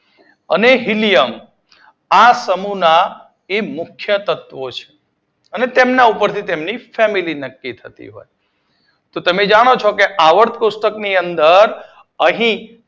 અને હીલિયમ આ સમૂહ ના એ મૂખ્ય તત્વો છે તે ઉપરથી તેમની ફેમિલી નક્કી થતી હોય છે. એટલે તમે જાણો છો કે આવર્તક કોષ્ટક ની અંદર અહી જમણી